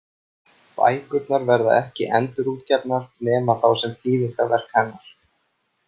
Bækurnar verða ekki endurútgefnar, nema þá sem þýðingarverk hennar.